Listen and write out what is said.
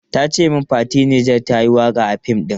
Ta ce min Fati Niger ta yi waka a fim ɗin.